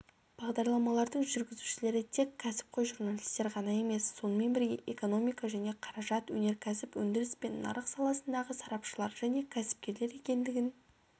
бағдарламалардың жүргізушілері тек кәсіпқой журналистер ғана емес сонымен бірге экономика және қаражат өнеркәсіп өндіріс пен нарық саласындағы сарапшылар және кәсіпкерлер екендігін